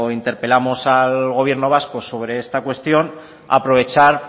interpelamos al gobierno vasco sobre esta cuestión aprovechar